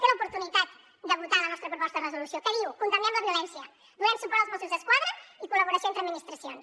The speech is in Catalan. té l’oportunitat de votar la nostra proposta de resolució que diu condemnem la violència donem suport als mossos d’esquadra i la col·laboració entre administracions